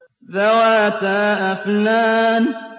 ذَوَاتَا أَفْنَانٍ